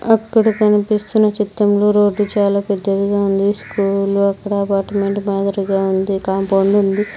అక్కడ కనిపిస్తున్న చిత్రంలో రోడ్డు చాలా పెద్దదిగా ఉంది స్కూల్ అక్కడ అపార్ట్మెంట్ మాదిరిగా ఉంది కాంపౌండ్ ఉంది.